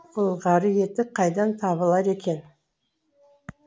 былғары етік қайдан табылар екен